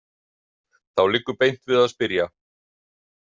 Þá liggur beint við að spyrja.